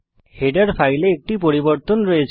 header ফাইলে একটি পরিবর্তন আছে